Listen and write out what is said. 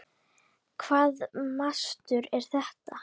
Hvaða mastur er þetta?